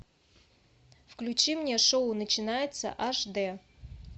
включи мне шоу начинается аш д